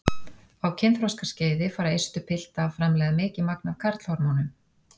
Á kynþroskaskeiði fara eistu pilta að framleiða mikið magn af karlhormónum.